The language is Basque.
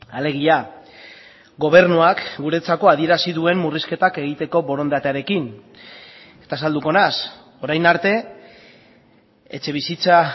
alegia gobernuak guretzako adierazi duen murrizketak egiteko borondatearekin eta azalduko naiz orain arte etxebizitza